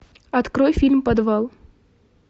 открой фильм подвал